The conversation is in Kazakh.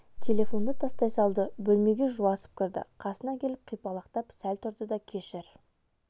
телефонды тастай салды бөлмеге жуасып кірді қасына келіп қипалақтап сәл тұрды да кешір